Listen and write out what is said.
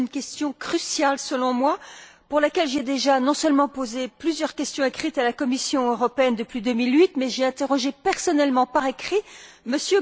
C'est une question cruciale selon moi, pour laquelle j'ai déjà non seulement posé plusieurs questions écrites à la Commission européenne depuis 2008, mais j'ai interrogé personnellement par écrit M.